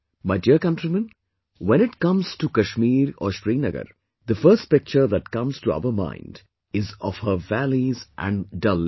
My dear countrymen, when it comes to Kashmir or Srinagar, the first picture that comes to our mind is of her valleys and Dal Lake